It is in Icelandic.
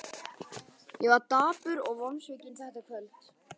Ég var dapur og vonsvikinn þetta kvöld.